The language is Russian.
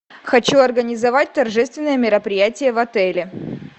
хочу организовать торжественное мероприятие в отеле